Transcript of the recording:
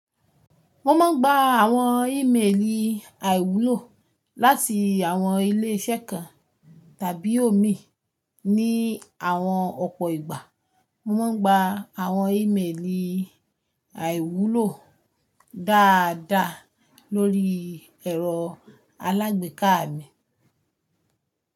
Mo máa ń gba àwọn ìméèlì àìwúlò láti àwọn ilé-iṣẹ́ kan tàbí omi ní àwọn ọ̀pọ̀ ìgbà. Mo máa ń gba àwọn ìméèlì àìwúlò dáadáa lórí ẹ̀rọ alágbèéká mi.